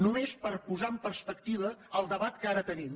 només per posar en perspectiva el debat que ara tenim